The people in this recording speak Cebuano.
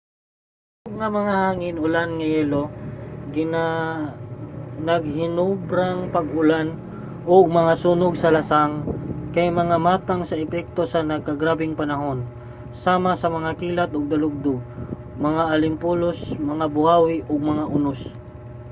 ang kusog nga mga hangin ulan nga yelo naghinobrang pag-ulan ug mga sunog sa lasang kay mga matang ug epekto sa nagkagrabeng panahon sama sa mga kilat ug dalugdog mga alimpulos mga buhawi ug mga unos